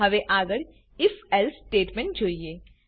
હવે આગળ if else statement જોઈએ